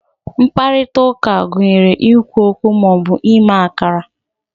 mkparịta ụka gụnyere ikwu okwu ma ọ bụ ime akara